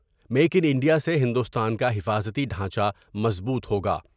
Make in India سے ہندوستان کا حفاظتی ڈھانچہ مضبوط ہوگا ۔